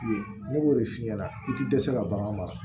Ne b'o de f'i ɲɛna i ti dɛsɛ ka bagan mara